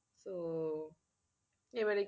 তো এবারে